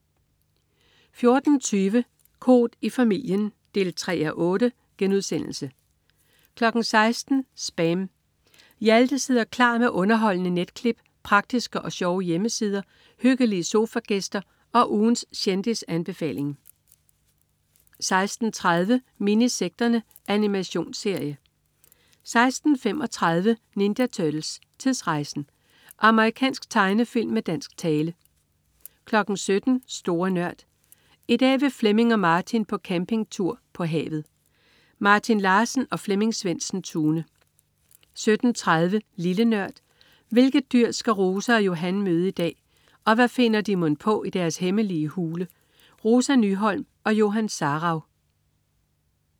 14.20 Koht i familien 3:8* 16.00 SPAM. Hjalte sidder klar med underholdende netklip, praktiske og sjove hjemmesider, hyggelige sofagæster og ugens kendisanbefaling 16.30 Minisekterne. Animationsserie 16.35 Ninja Turtles: Tidsrejsen! Amerikansk tegnefilm med dansk tale 17.00 Store Nørd. I dag vil Flemming og Martin på campingtur. På havet! Martin Larsen og Flemming Svendsen-Tune 17.30 Lille Nørd. Hvilket dyr skal Rosa og Johan møde i dag, og hvad finder de mon på i deres hemmelige hule? Rosa Nyholm og Johan Sarauw